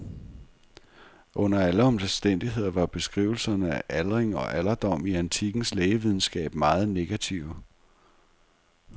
Under alle omstændigheder var beskrivelserne af aldring og alderdom i antikkens lægevidenskab meget negative.